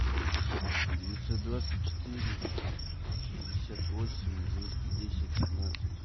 девятьсот двадцать четыре шестьдесят восемь двести десять семнадцать